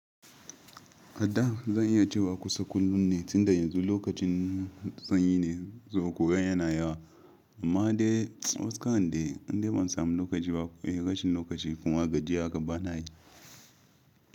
Ada zan iya cewa kusan kullum ne, tun da yanzu lokacin sanyi ne zuwa ƙura yana yawa, amma dai wasu kayan dai indai ban samu lokaci ba. Eh rashin lokaci kuma gajiya haka bana yi.